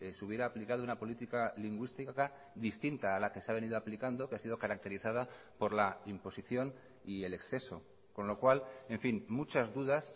se hubiera aplicado una política lingüística distinta a la que se ha venido aplicando que ha sido caracterizada por la imposición y el exceso con lo cual en fin muchas dudas